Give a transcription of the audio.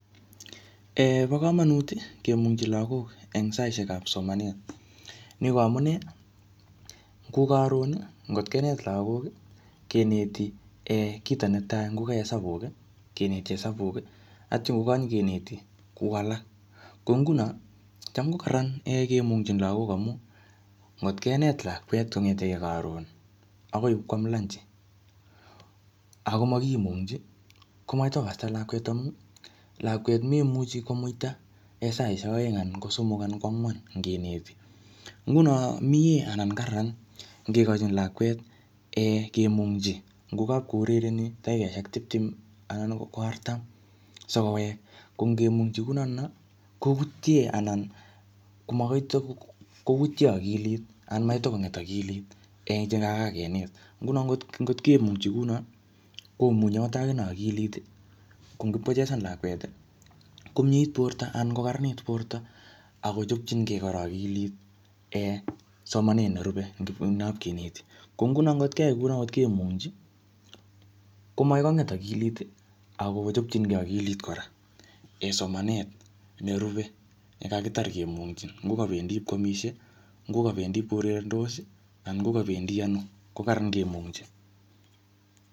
um Bo komonut kemung'chi lagok eng saishekap somanet. Ni ko amunee, ngo karon, ngotkenet lagok, keneti um kito netai. Ngoka hesabuk, keneti hesabuk, atya ngokanyikeneti kou alak. Ko nguno, cham ko kararan um kemung'chin lagok amu, ngotkenet lakwet kong'etegei karon, akoi ipkwam lanchi, akomakimung'chin, komakoi kotikoksta lakwet amu, lakwet memuchi komuita saishek aeng, anan ko somok anan ko angwan ngeneti. Nguno miee anan kararan ngekochin lakwet um kemung'chi. Ngokapkourereni dakikoshek tiptem anan ko artam sikowek. Ko ngemung'chi kunotono, koutie anan komakoi kotikoutie akilit anan makoi tikong'et akilit eng chekakakenet. Nguno ngot-ngotkemungchi kuno, komunyi angot akinee akilit. Ko ngipkochesan lakwet, komiet borto anan kokararanit borto. Akochopchinkey kora akilit um somanet nerube ngipko ndapkeneti. Ko nguno ngotkeai kuno, ngotkemungchi, komakoi kong'et akilit, akochopchineki akilit kora eng somanet nerube ne kakitar kemung'chi. Ngokabendi ipkoamisie, ngokabendi kourerendos, anan ngokabendi ano, ko kararran kemung'chin.